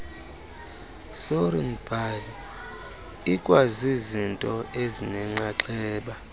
sornbhali ikwazizinto ezinenxaxheba